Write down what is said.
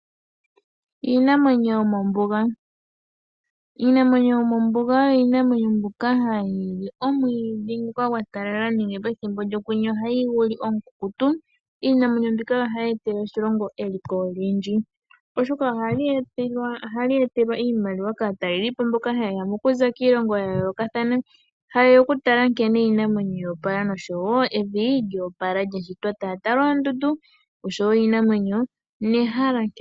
Iinamwenyo yomombuga. Iinamwenyo yomombuga oyo iinamwenyo mbyoka hayili omwiidhi ngoka gwa talala nenge pethimbo lyokwenye ohayi guli omukukutu. Iinamwenyo mbika ohayi etele oshilongo eliko olindji Pethimbo taya tala oondundu oshowo iinamwenyo nehala.